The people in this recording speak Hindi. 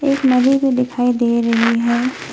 एक नदी भी दिखाई दे रही है।